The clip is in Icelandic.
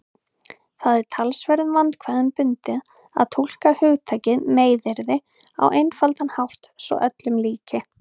Það er talsverðum vandkvæðum bundið að túlka hugtakið meiðyrði á einfaldan hátt svo öllum líki.